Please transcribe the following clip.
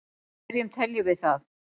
hvernig teljum við það